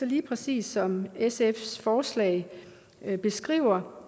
lige præcis som sfs forslag beskriver